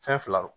Fɛn fila don